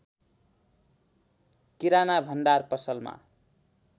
किराना भण्डार पसलमा